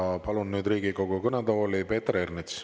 Ja palun nüüd Riigikogu kõnetooli Peeter Ernitsa.